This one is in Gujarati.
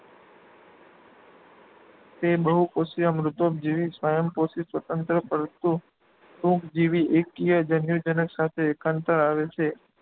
તે બહુકોષીય, મૃતોપજીવી સ્વયંપોષી, સ્વતંત્ર પરંતુ ટૂંકજીવી એકકીય જન્યુજનક સાથે એકાંતરે આવે છે.